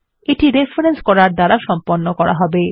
এটি রেফরেন্স করার দ্বারা সম্পন্ন করা হবে